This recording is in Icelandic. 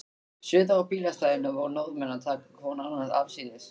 Suður á bílastæðinu voru Norðmenn að taka hvorn annan afsíðis.